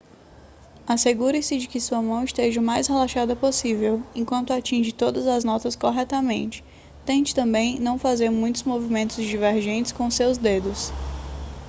assegure-se de que a sua mão esteja o mais relaxada possível enquanto atinge todas as notas corretamente tente também não fazer muitos movimentos divergentes com seus dedos